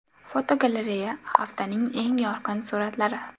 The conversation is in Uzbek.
Fotogalereya: Haftaning eng yorqin suratlari.